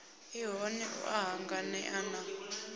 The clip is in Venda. ṱhoni u a hanganea na